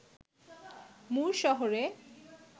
মুর শহরে